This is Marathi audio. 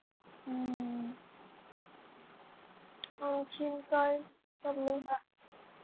आणखीन काय चाललंय बाकी